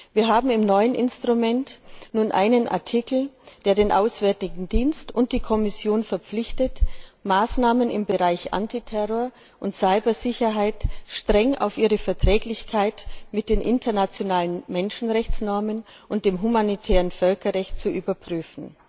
Wir haben im neuen Instrument nun einen Artikel, der den Auswärtigen Dienst und die Kommission verpflichtet, Maßnahmen im Bereich Antiterror und Cyber Sicherheit streng auf ihre Verträglichkeit mit den internationalen Menschenrechtsnormen und dem humanitären Völkerrecht zu überprüfen.